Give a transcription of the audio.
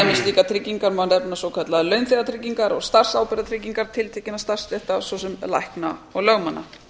slíkar tryggingar má nefna svokallaðar launþegatryggingar og starfsábyrgðartryggingar tiltekinna starfsstétta svo sem lækna og lögmanna